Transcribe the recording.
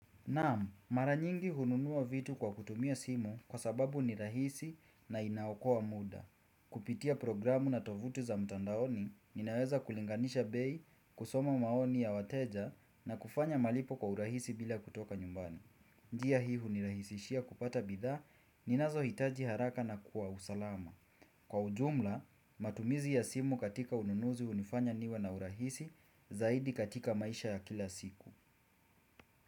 Naam, mara nyingi hununua vitu kwa kutumia simu kwa sababu ni rahisi na inaokoa muda. Kupitia programu na tovuti za mtandaoni, ninaweza kulinganisha bei, kusoma maoni ya wateja na kufanya malipo kwa urahisi bila kutoka nyumbani. Njia hii hunirahisishia kupata bidhaa ninazohitaji haraka na kwa usalama. Kwa ujumla, matumizi ya simu katika ununuzi hunifanya niwe na urahisi zaidi katika maisha ya kila siku.